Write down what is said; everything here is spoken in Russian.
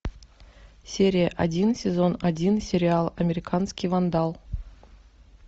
серия один сезон один сериал американский вандал